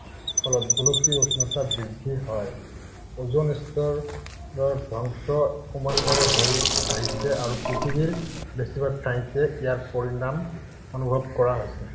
ফলত গোলকীয় উষ্ণতা বৃদ্ধি হয়। ওজোন স্তৰৰ ধ্বংস ক্ৰমান্বয়ে হৈ আহিছে আৰু পৃথিৱীৰ বেছিভাগ ঠাইতে ইয়াৰ পৰিণাম অনুভৱ কৰা হৈছে।